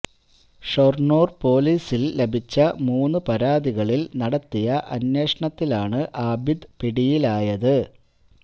ഷൊര്ണൂര് പോലീസില് ലഭിച്ച മൂന്നു പരാതികളില് നടത്തിയ അന്വേഷണത്തിലാണ് ആബിദ് പിടിയിലായത്